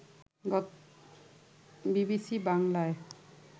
BBC বাংলায়